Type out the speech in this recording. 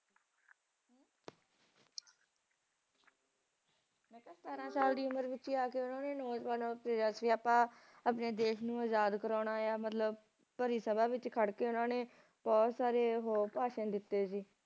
ਸਤਾਰਾਂ ਸਾਲ ਦੀ ਉਮਰ ਵਿਚ ਹੀ ਆ ਕੇ ਓਹਨਾ ਨੇ ਨੌਜਵਾਨਾਂ ਨੂੰ ਕਿਹਾ ਕਿ ਅੱਪਾ ਆਪਣੇ ਦੇਸ਼ ਨੂੰ ਆਜ਼ਾਦ ਕਰਾਉਣਾ ਆ ਮਤਲਬ ਭਰੀ ਸਭ ਵਿਚ ਖੁਦ ਕੇ ਓਹਨਾ ਨੇ ਬਹੁਤ ਸਾਰੇ ਉਹ ਭਾਸ਼ਣ ਦਿੱਤੇ ਸੀ